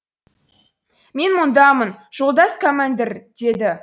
мен мұндамын жолдас кәмәндір деді